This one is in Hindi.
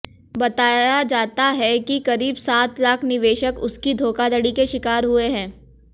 बताया जाता है कि करीब सात लाख निवेशक उसकी धोखाधड़ी के शिकार हुए है